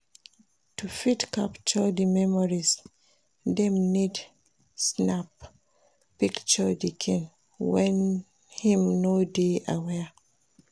To fit capture di memories dem need snap picture di kin when im no de aware